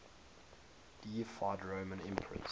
deified roman emperors